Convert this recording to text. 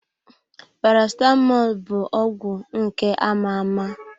Paracetamọl bụ ọgwụ nke ama-ama.